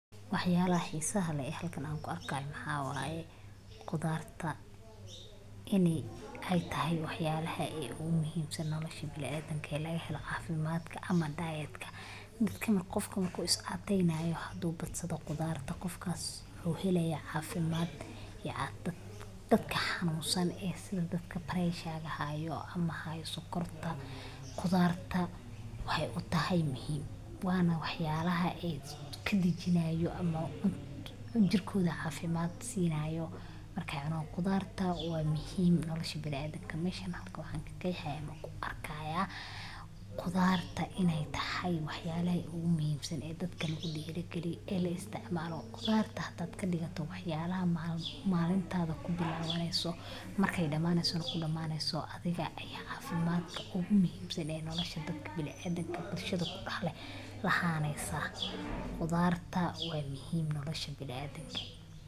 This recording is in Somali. Waxyalaha hisaha leh an halkan kuarko maxa qudaarta ini ay tahay waxyalaha ogumuximsan nolosha biniadamka lagahelo cafimadka ama diet gofka marku iscatrynayo hadu badsado qudarta gofkas wuxu heleya cafimd, dadka hanunsan ee sida dadka pressure hayo ama hayo sokorta qudarta waxay utahay muxiim wana wax yalaha ee kadijinayo ama eba jirkoda cafimad sinayo markay cunan, qudarta wa muxiim nolosha biniadamka mesha hada waxan kaqehaya ana kuarkaya qudarta inay tahay waxyalaha ogumuxiimsan ee dadka kudirigamliya ini laisticmalo, qudarta hadad kadigato waxyalaha malintada kubilaneyso markay damaneyso nah kudamaneyso, adhiga aya cafimadka ogumuxiimsan ee nolosha dadka biniadamka bulshad kudah leh ahaneysa, qudarta wa muxiim nolosha biniadamke.